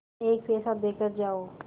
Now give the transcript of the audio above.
एक पैसा देकर जाओ